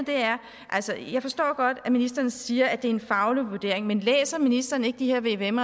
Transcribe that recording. jeg forstår godt at ministeren siger at det er en faglig vurdering men læser ministeren ikke de her vvm